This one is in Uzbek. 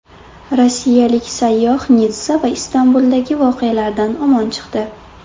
Rossiyalik sayyoh Nitssa va Istanbuldagi voqealardan omon chiqdi.